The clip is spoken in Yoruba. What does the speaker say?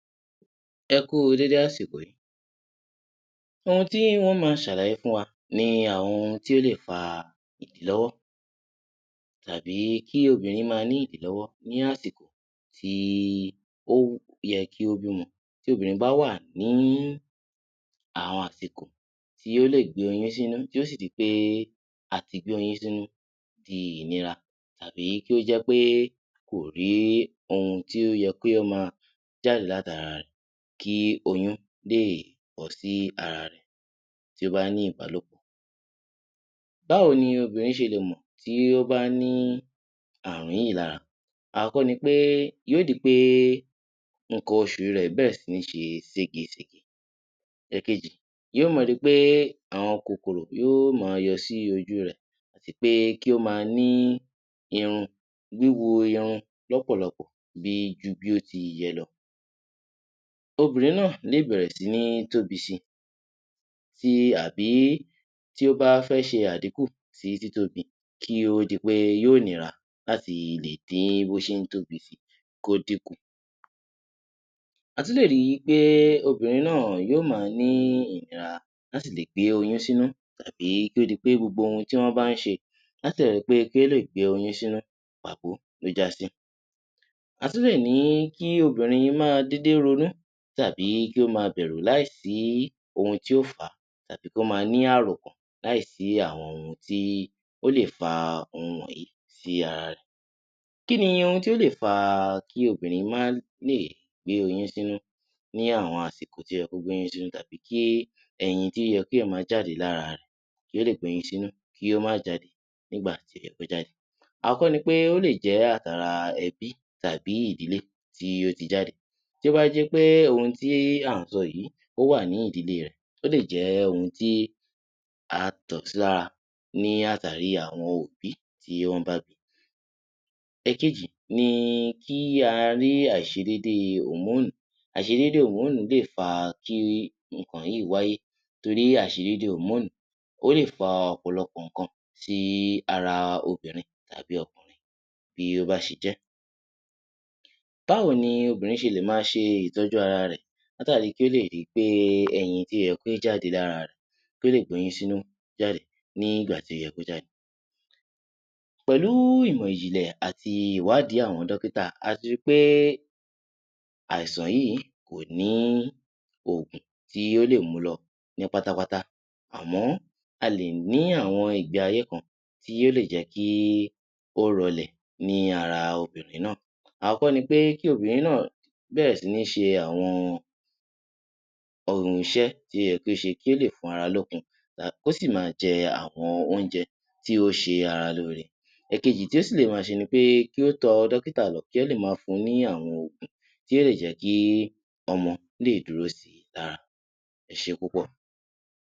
Ẹ kú u dédé àsìkò yìí. Ohun tí ń ó máa ṣàlàyé fún wa ni àwọn ohun tí ó lè fa ìdílọ́wọ́ tàbí kí obìnrin máa ní ìdílọ́wọ́ ní àsìkò tí ó yẹ kí ó bímọ. Tí obìnrin bá wà ní àwọn àsìkò tí ó lè gbé oyún sínú tí ó sì di pé àti gbé oyún sínú di ìnira tàbí kí ó jẹ́ pé kò rí ohun tí ó yẹ kí ó máa jáde láti ara rẹ̀ kí oyún lè bọ́ sí ara rẹ̀ tí ó bá ní ìbálòpọ̀. Báwo ni obìnrin ṣe lè mọ̀ tí ó bá ní àààrùn yìí lára. Àkọ́kọ́ ni pé yóó di pé nǹkan oṣù rẹ̀ bẹ̀rẹ̀ sí ní ṣe sége-sège. Ẹ̀ẹ̀kejì, yóó máa ri pé àwọn kòkòrò yóó máa yọ sí ojú rẹ̀, àti pé kí ó máa ní irun, wíwu irun lọ́pọ̀lọpọ̀ bi ju bí ó ti yẹ lọ. Obìnrin náà lè bẹ̀rẹ̀ sí ní tóbi si, ti àbí tí ó bá fẹ́ ṣe àdínkù sí títóbi kí ó di pé yóó nira láti lè dín bó ṣe ń tóbi si, kó dinkù. A tún lè ri pé obìnrin náà yóó máa ní ìnira láti lè gbé oyún sínú tàbí kí ó di pé gbogbo ohun tí wọ́n bá ń ṣe látàri pé kí ó lè gbé oyún sínú, pàbo ló já sí. A tún lè ní kí obìnrin máa dédé ronú tàbí kí ó máa bẹ̀rụ̀ láì sí ohun tí ó fà á, tàbí kí ó máa ní àròkàn láì sí àwọn ohun tí ó lè fa ohun wọ̀nyí sí ara rẹ̀. Kí ni ohun tí ó lè fa kí obìnrin má lè gbé oyún sínú ní àwọn àsìkò tí ó yẹ kó gbé oyún sínú tàbí kí ẹyin tí ó yẹ kí ó máa jáde lára rẹ̀ kí ó lè gbé oyún sínú kí ó má jáde nígbà tí ó yẹ kó jáde. Àkọ́kọ́ ni pé ó lè jẹ́ àti ara ẹbí tàbí ìdílé tí ó ti jáde. Tí ó bá jẹ́ pé ohun tí à ń sọ yìí ó wà ní ìdílè rẹ̀, ó lè jẹ́ ohun tí a tọ̀ sí lára ní àtàrí àwọn òbí tí wọ́n bá bi. Ẹ̀kejì ni kí a rí àìṣedéédéé òmóònù. Àìṣedéédéé òmóònù lè fa kí nǹkan yìí wáyé, torí àìṣedéédéé òmóònù, ó lè fa ọ̀pọ̀lọpọ̀ nǹkan sí ara obìnrin tàbí ọkùnrin bí ó bá ṣe jẹ́. Báwo ni obìnrin ṣe lè máa ṣe ìtọ́jú ara rẹ̀ látàri kí ó lè ri pé ẹyin tí ó yẹ kí ó jáde lára rẹ̀ kí ó lè gbóyún sínú jáde ní ìgbà tó yẹ kó jáde. Pẹ̀lú ìmọ̀ ìjìnlẹ̀ àti ìwádìí àwọn dọ́kítà, a ti ri pé àìsàn yìí kò ní òòg̀un tí ó lè mu lọ ní pátápátá, àmọ́ a lè ní àwọn ìgbé ayé kan tí ó lè jẹ́ kí ó rọ́lẹ̀ ní ara obìnrin náà. Àọ́kọ́ ni pé kí obìnrin náà bẹ̀rẹ̀ sí ní ṣe àwọn ohun iṣẹ́ tí ó yẹ kí ó ṣe kí ó lè fún ara lókun, kó sì máa jẹ àwọn oúnjẹ tí ó ṣe ara lóore. Ẹ̀kejì tí ó sì lè máa ṣe ni pé kí ó tọ dọ́kítà lọ kí wọ́n lè máa fun ní àwọn òògùn tí ó lè jẹ́ kí ọmọ lè dúró sí i lára. Ẹ ṣé púpọ̀!